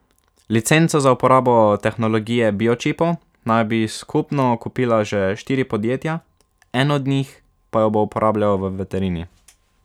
Licenco za uporabo tehnologije biočipov naj bi skupno kupila že štiri podjetja, eno od njih pa jo bo uporabljalo v veterini.